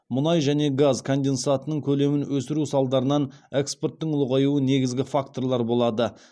мұнай және газ конденсатының көлемін өсіру салдарынан экспорттың ұлғаюы негізгі факторлар болады